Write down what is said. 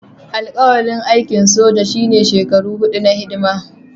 Alƙawarin aikin soja shine shekaru huɗu na hidima